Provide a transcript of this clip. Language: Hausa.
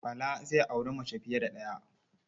Bala zai auri mace fiye da ɗaya.